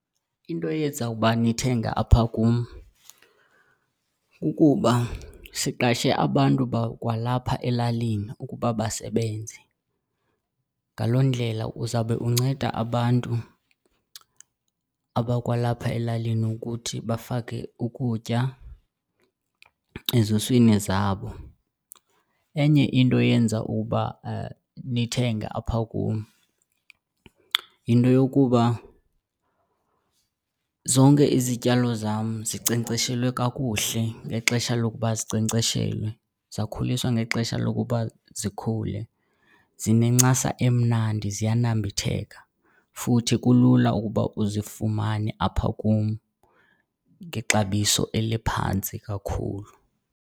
Into eyenza uba nithenge apha kum kukuba siqashe abantu bakwalapha elalini ukuba basebenze. Ngaloo ndlela uzawube unceda abantu abakwalapha elalini ukuthi bafake ukutya ezuswini zabo. Enye into eyenza uba nithenge apha kum yinto yokuba zonke izityalo zam zinkcenkceshelwe kakuhle ngexesha lokuba zinkcenkceshelwe, zakhuliswa ngexesha lokuba zikhule, zinencasa emnandi ziyanambitheka, futhi kulula ukuba uzifumane apha kum ngexabiso eliphantsi kakhulu.